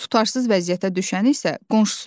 Tutarsız vəziyyətə düşəni isə qonşusudur.